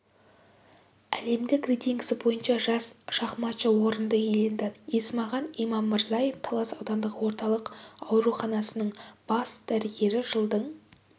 әлемдік рейтингісі бойынша жас шахматшы орынды иеленді есмахан имаммырзаев талас аудандық орталық ауруханасының бас дәрігері жылдың